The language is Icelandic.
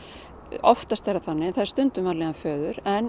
oftast er það þannig en það er stundum vanlíðan föður en